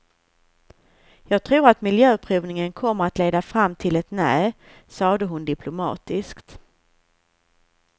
Jag tror att miljöprövningen kommer att leda fram till ett nej, sade hon diplomatiskt.